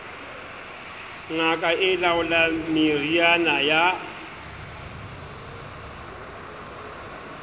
ngaka e laolang meriana ya